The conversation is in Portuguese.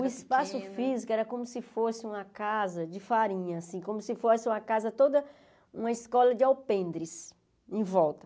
O espaço físico era como se fosse uma casa de farinha assim, como se fosse uma casa toda, uma escola de alpendres em volta.